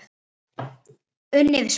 Unnið spil.